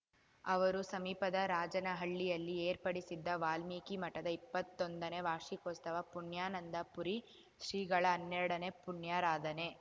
ಅವರು ಸಮೀಪದ ರಾಜನಹಳ್ಳಿಯಲ್ಲಿ ಏರ್ಪಡಿಸಿದ್ದ ವಾಲ್ಮೀಕಿ ಮಠದ ಇಪ್ಪತ್ತೊಂದನೇ ವಾರ್ಷಿಕೋತ್ಸವ ಪುಣ್ಯಾನಂದ ಪುರಿ ಶ್ರೀಗಳ ಹನ್ನೆರಡನೇ ಪುಣ್ಯಾರಾಧನೆ